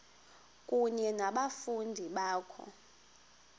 kunye nabafundi bakho